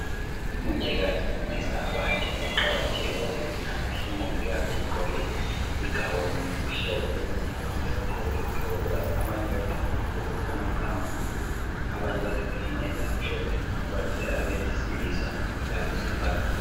Umongikazi ufundisa abantu ngokuqakatheka kwezempilakahle. Umongikazi ugqoke i"gown" emhlophe kukanti abantu bagqoke izigqoko zabo. Abanye bagqoke amabhulugwe angu"brown",abanye bagqoke amayembe amhlophe kubalisela abesilisa labesifazane.